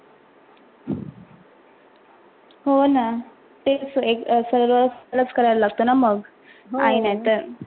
हो ना तेच सगळंच करा लगते न मग आई नाही तर.